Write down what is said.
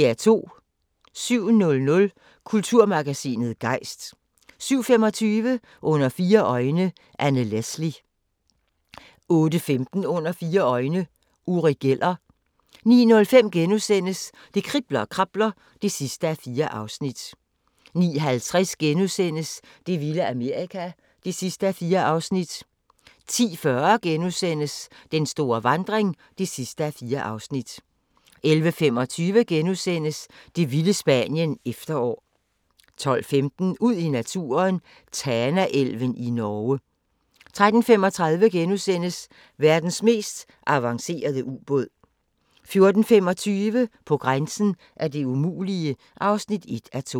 07:00: Kulturmagasinet Gejst 07:25: Under fire øjne – Anne Leslie 08:15: Under fire øjne – Uri Geller 09:05: Det kribler og krabler (4:4)* 09:50: Det vilde Amerika (4:4)* 10:40: Den store vandring (4:4)* 11:25: Det vilde Spanien – Efterår * 12:15: Ud i naturen: Tanaelven i Norge 13:35: Verdens mest avancerede ubåd * 14:25: På grænsen af det umulige (1:2)